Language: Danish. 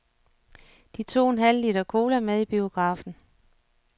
De tog en halv liter cola med i biografen.